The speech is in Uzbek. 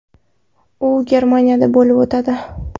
U Germaniyada bo‘lib o‘tadi.